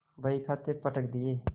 बहीखाते पटक दिये